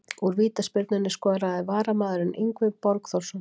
Úr vítaspyrnunni skoraði varamaðurinn Yngvi Borgþórsson.